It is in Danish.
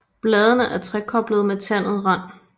Bladene er trekoblede med tandet rand